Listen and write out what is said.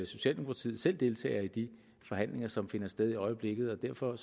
socialdemokratiet selv deltager i de forhandlinger som finder sted i øjeblikket og derfor